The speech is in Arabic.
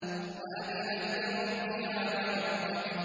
وَأَذِنَتْ لِرَبِّهَا وَحُقَّتْ